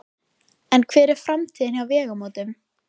En hver er framtíðin hjá Vegamótum?